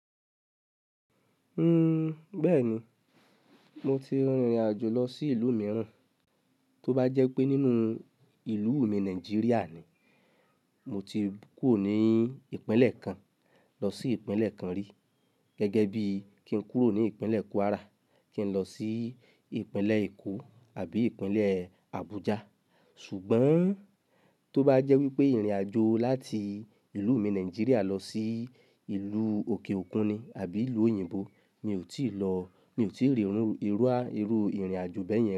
Uhm, bẹ́ẹ̀ni, mo ti rìnrìn àjò lọ sí ìlú mìíràn, tó bá jẹ́ pé nínú ìlú mi Nàìjíríà ni, mo ti kúrò ní ìpínlẹ̀ kan lọ sí ìpínlẹ̀ kan rí, gẹ́gẹ́ bí kí n kúrò ní ìpínlẹ̀ Kwara kí n lọ sí ìpínlẹ̀ Èkó àbí ìpínlẹ̀ Abuja. Ṣùgbọ́n tó bá jẹ́ wípé ìrìn àjò láti ìlú mi Nàìjíríà lọ sí ìlú òkè òkun ni àbí ìlú òyìnbó mi ò tíì lọ, mi ò tíì rí irú, irú, irú ìrìn àjò bẹ́yẹn.